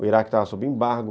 O Iraque estava sob embargo.